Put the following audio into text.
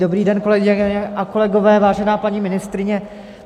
Dobrý den, kolegyně a kolegové, vážená paní ministryně.